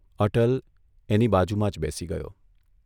અટલ એની બાજુમાં જ બેસી ગયો.